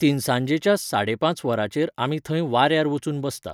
तिनसांजेच्या साडे पांच वरांचेर आमी थंय वाऱ्यार वचून बसता.